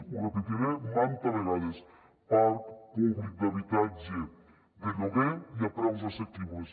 ho repetiré mantes vegades parc públic d’habitatge de lloguer i a preus assequibles